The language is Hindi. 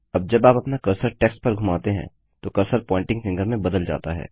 अब जब आप अपना कर्सर टेक्स्ट पर घुमाते हैं तो कर्सर प्वॉइंटिंग फिंगर में बदल जाता है